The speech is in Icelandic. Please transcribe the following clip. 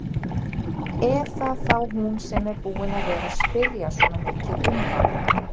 Er það þá hún sem er búin að vera að spyrja svona mikið um hann?